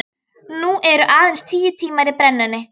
Nú eru aðeins tíu tímar í brennuna.